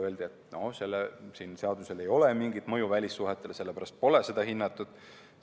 Öeldi, et sellel seadusel ei ole mingit mõju välissuhetele, sellepärast pole seda hinnatud.